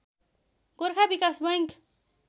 Gorkha Bikas bank